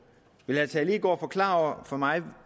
vil herre tage leegaard forklare over for mig